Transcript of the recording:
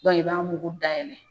i b'a mugu dayɛlɛ.